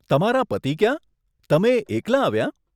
તમારા પતિ ક્યાં, તમે એકલા આવ્યાં?